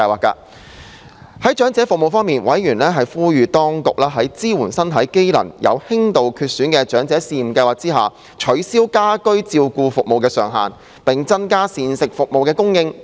在長者服務方面，委員呼籲當局在"支援身體機能有輕度缺損的長者試驗計劃"下，取消家居照顧服務的上限，並增加膳食服務的供應。